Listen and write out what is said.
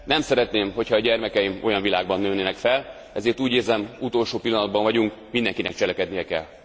Nem szeretném, ha a gyermekeim olyan világban nőnének fel, ezért úgy érzem, utolsó pillanatban vagyunk, mindenkinek cselekednie kell.